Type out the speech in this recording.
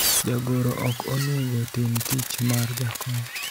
jagoro ok onego tim tich mar jakom